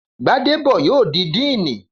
Gbádébọ̀ yóò di díìnì